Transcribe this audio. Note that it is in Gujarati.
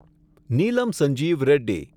નીલમ સંજીવ રેડ્ડી